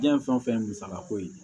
Diɲɛ fɛn o fɛn musakako ye